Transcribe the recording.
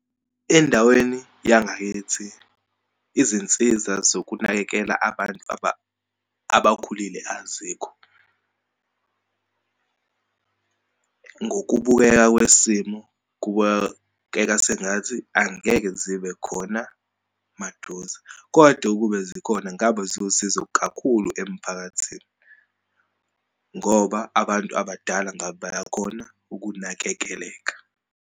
Endaweni yangakithi, izinsiza zokunakekela abantu abakhulile azikho. Ngokubukeka kwesimo kuba sengathi angeke zibe khona maduze. Kodwa ukube zikhona ngabe zowusizo kakhulu emphakathini ngoba abantu abadala ngabe baya khona ukunakekeleka.